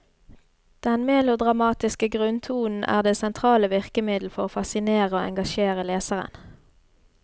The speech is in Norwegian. Den melodramatiske grunntonen er det sentrale virkemiddel for å fascinere og engasjere leseren.